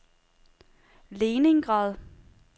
Leningrad